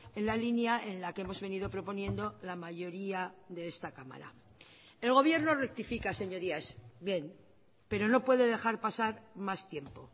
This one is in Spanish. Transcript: en la línea en la que hemos venido proponiendo la mayoría de esta cámara el gobierno rectifica señorías bien pero no puede dejar pasar más tiempo